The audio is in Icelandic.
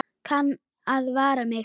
Kann að vara mig.